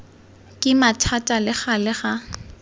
kima thata le gale ga